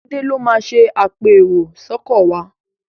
Laide ló má ṣe apẹ èrò sóko wá.